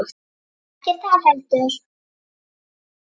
Ekkert þar heldur.